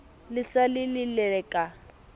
le sa le lelelele ka